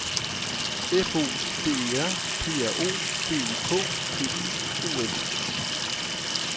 F O D E R P R O D U K T I O N